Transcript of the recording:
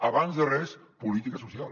abans de res política social